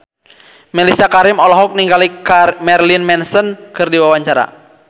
Mellisa Karim olohok ningali Marilyn Manson keur diwawancara